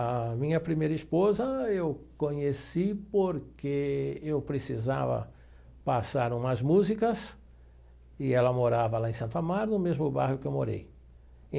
A minha primeira esposa eu conheci porque eu precisava passar umas músicas e ela morava lá em Santo Amaro, no mesmo bairro que eu morei.